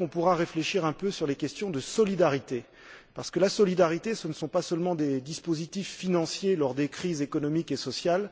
nous pourrons réfléchir un peu à la question de la solidarité, parce que la solidarité, ce ne sont pas seulement des dispositifs financiers, mis en œuvre lors des crises économiques et sociales.